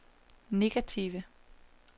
negative